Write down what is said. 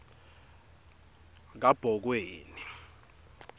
kabhokweni